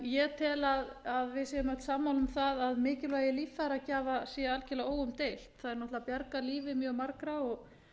ég tel að við séum öll sammála um það að mikilvægi líffæragjafa sé algjörlega óumdeilt þær náttúrlega bjarga lífi mjög margra og